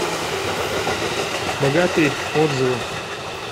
богатырь отзывы